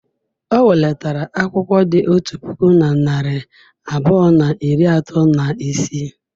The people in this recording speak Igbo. O welatara akwụkwọ dị otu puku na narị abụọ na iri atọ na isii.